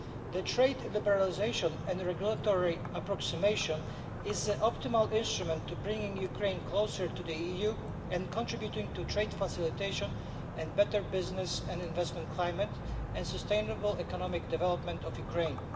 This trade liberalisation and regulatory approximation is the optimal instrument for bringing Ukraine closer to the EU and contributing to trade facilitation, a better business and investment climate, and the sustainable economic development of Ukraine.